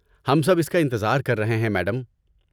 ہم سب اس کا انتظار کر رہے ہیں، میڈم۔